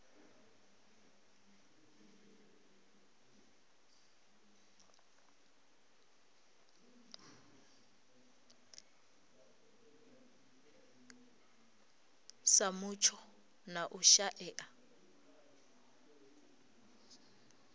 sa mutsho na u shaea